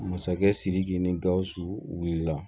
Masakɛ sidiki ni gausu wulila